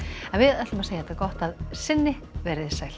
en við segjum þetta gott að sinni veriði sæl